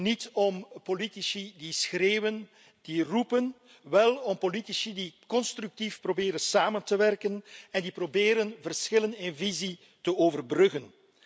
Niet om politici die schreeuwen, die roepen, wel om politici die constructief proberen samen te werken en die proberen verschillen in visie te overbruggen.